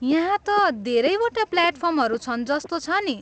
यहाँ त धेरैवटा प्लाटफर्महरू छन् जस्तो छ नि।